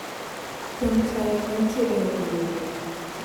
thum taya mantie e od welo